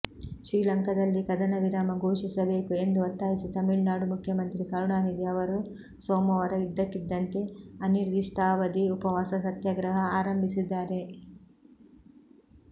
ಶ್ರೀಲಂಕಾದಲ್ಲಿ ಕದನವಿರಾಮ ಘೋಷಿಸಬೇಕು ಎಂದು ಒತ್ತಾಯಿಸಿ ತಮಿಳ್ನಾಡು ಮುಖ್ಯಮಂತ್ರಿ ಕರುಣಾನಿಧಿ ಅವರು ಸೋಮವಾರ ಇದ್ದಕ್ಕಿದ್ದಂತೆ ಅನಿರ್ದಿಷ್ಟಾವಧಿ ಉಪವಾಸ ಸತ್ಯಾಗ್ರಹ ಆರಂಭಿಸಿದ್ದಾರೆ